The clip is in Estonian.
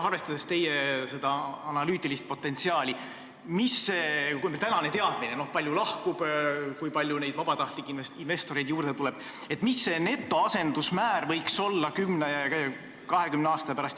Arvestades teie analüütilist potentsiaali ja praegust teadmist selle kohta, palju lahkub, kui palju vabatahtlikke investoreid juurde tuleb, mis see netoasendusmäär võiks olla kümne ja kahekümne aasta pärast ...